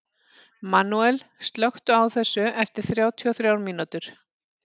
Manuel, slökktu á þessu eftir þrjátíu og þrjár mínútur.